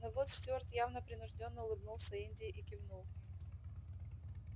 но вот стюарт явно принуждённо улыбнулся индии и кивнул